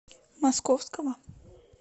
московского